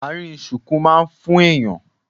Àárín ṣuku má ń fún èèyàn